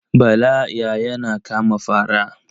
Bala ya yana kama fara.